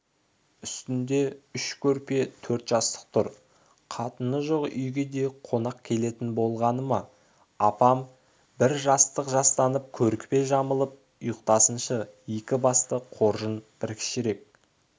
үстінде үш көрпе төрт жастық тұр қатыны жоқ үйге де қонақ келетін болғаны ма апам бір жастық жастанып көрпе жамылып ұйықтасыншы екі басты қоржын бір кішірек